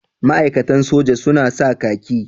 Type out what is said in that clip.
Ma'aikatan soja su na sa kaki.